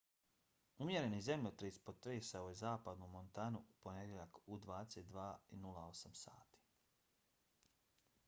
umjereni zemljotres potresao je zapadnu montanu u ponedjeljak u 22:08 sati